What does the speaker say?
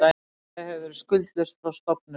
Félagið hefur verið skuldlaust frá stofnun